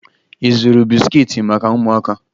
Ị zụrụ bisikiiti maka ụmụaka?